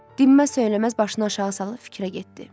Dinməz-söyləməz başını aşağı salıb fikrə getdi.